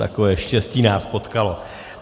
Takové štěstí nás potkalo.